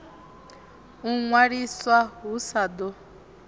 u ṅwaliswa hu sa ḓo